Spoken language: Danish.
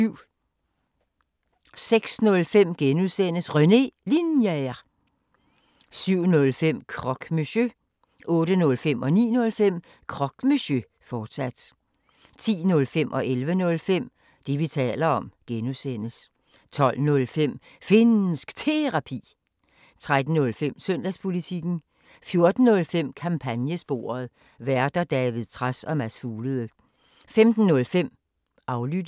06:05: René Linjer (G) 07:05: Croque Monsieur 08:05: Croque Monsieur, fortsat 09:05: Croque Monsieur, fortsat 10:05: Det, vi taler om (G) 11:05: Det, vi taler om (G) 12:05: Finnsk Terapi 13:05: Søndagspolitikken 14:05: Kampagnesporet: Værter: David Trads og Mads Fuglede 15:05: Aflyttet